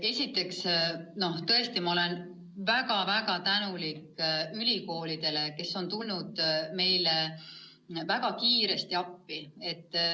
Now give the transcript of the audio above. Esiteks, tõesti, ma olen väga-väga tänulik ülikoolidele, kes on tulnud meile väga kiiresti appi.